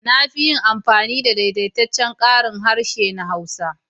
Na fi yin amfani da daidaitaccen karin harshe na Hausa.